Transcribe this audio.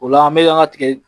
O la an bɛ an ka tigɛ